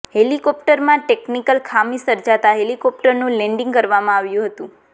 હેલિકોપ્ટરમાં technical ખામી સર્જાતા હેલિકોપ્ટરનું લેન્ડીંગ કરવામાં આવ્યું હતું